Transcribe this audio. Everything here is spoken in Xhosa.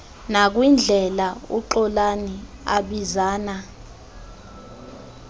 nakwindlela uxolani abizana